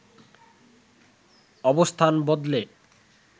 অবস্থান বদলে